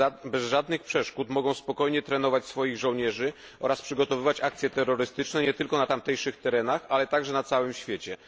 bez żadnych przeszkód mogą spokojnie trenować swoich żołnierzy oraz przygotowywać akcje terrorystyczne nie tylko na tamtejszych terenach, ale także na całym świecie.